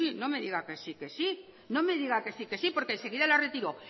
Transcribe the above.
no me diga que sí no me diga que sí porque enseguida la retiró